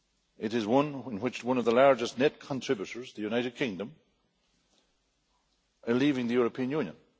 It is one in which one of the largest net contributors, the United Kingdom, is leaving the European Union.